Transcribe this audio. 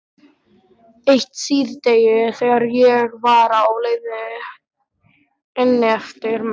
Eitt síðdegi þegar ég var á leið inneftir með